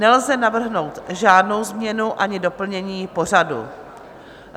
Nelze navrhnout žádnou změnu ani doplnění pořadu.